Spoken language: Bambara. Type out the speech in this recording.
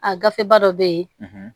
A gafe ba dɔ be yen